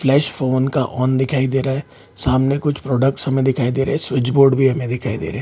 Flash phone का on दिखाई दे रहा सामने कुछ प्रोडक्ट्स हमे दिखाई दे रहे है और स्विच बोर्ड भी हमे दिखाई दे रहे हैं।